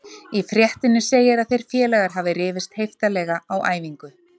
Í fréttinni segir að þeir félagar hafa rifist heiftarlega á æfingu.